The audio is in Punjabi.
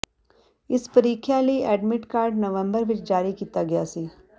ਇਸ ਪ੍ਰੀਖਿਆ ਲਈ ਐਡਮਿਟ ਕਾਰਡ ਨਵੰਬਰ ਵਿਚ ਜਾਰੀ ਕੀਤਾ ਗਿਆ ਸੀ